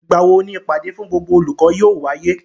Ìgbà wo ni ìpàdé fún gbogbo olùkọ́ yóò wáyé?